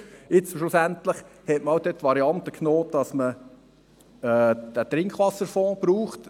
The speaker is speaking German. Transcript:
Schlussendlich hat man jetzt die Variante genommen, gemäss derer man den Trinkwasserfonds braucht.